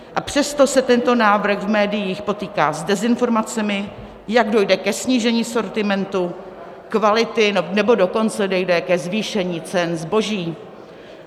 A přesto se tento návrh v médiích potýká s dezinformacemi, jak dojde ke snížení sortimentu, kvality, nebo dokonce dojde ke zvýšení cen zboží.